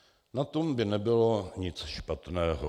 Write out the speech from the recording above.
Na tom by nebylo nic špatného.